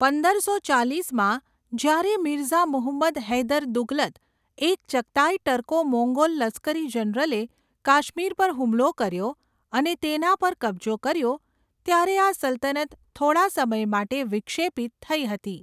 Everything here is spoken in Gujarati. પંદરસો ચાલીસમાં, જ્યારે મિર્ઝા મુહમ્મદ હૈદર દુગલત, એક ચગતાઈ ટર્કો મોંગોલ લશ્કરી જનરલે કાશ્મીર પર હુમલો કર્યો અને તેના પર કબજો કર્યો ત્યારે આ સલ્તનત થોડા સમય માટે વિક્ષેપિત થઈ હતી.